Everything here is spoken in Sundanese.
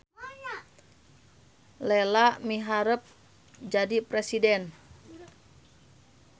Lela miharep jadi presiden